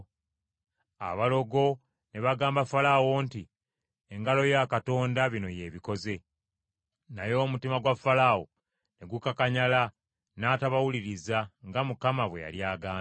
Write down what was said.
Abalogo ne bagamba Falaawo nti, “Engalo ya Katonda bino y’ebikoze.” Naye omutima gwa Falaawo ne gukakanyala, n’atabawuliriza, nga Mukama bwe yali agambye.